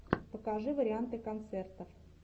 покажи варианты концертов